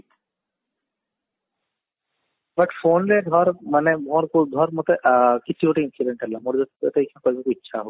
but phone ରେ ଧର ମାନେ ମୋର ଧର ମୋତେ ଆ କିଛି ଗୋଟେ incident ହେଲା ମୋର ଯଦି ତତେ କହିବାକୁ ଇଛା ହଉଛି